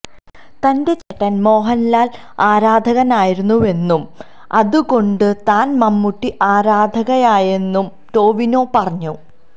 തന്റെ ചേട്ടന് മോഹന്ലാല് ആരാധകനായിരുന്നുവെന്നും അതുകൊണ്ട് താന് മമ്മുട്ടി ആരാധകനായെന്നും ടൊവിനോ പറഞ്ഞു